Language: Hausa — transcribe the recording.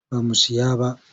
Ba mu siyo ba.